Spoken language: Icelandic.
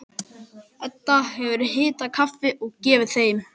Edda hefur hitað kaffi og gefið þeim.